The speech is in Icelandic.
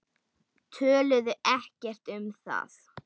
Töluðu ekki um það.